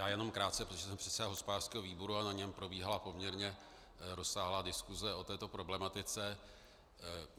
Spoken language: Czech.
Já jenom krátce, protože jsem předseda hospodářského výboru a na něm probíhala poměrně rozsáhlá diskuse o této problematice.